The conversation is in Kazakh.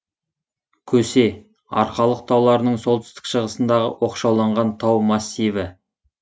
көсе арқалық тауларының солтүстік шығысындағы оқшауланған тау массиві